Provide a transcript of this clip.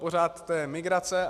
Pořád to je migrace.